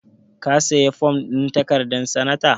Ka sayi fom ɗin takarar sanata?